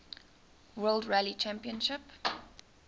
world rally championship